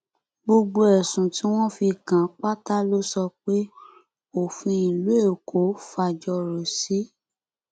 gbogbo ẹsùn tí wọn fi kàn án pátá ló sọ pé òfin ìlú èkó fàjọrò sí